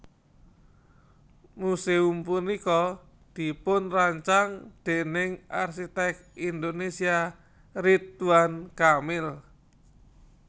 Museum punika dipunrancang déning arsiték Indonésia Ridwan Kamil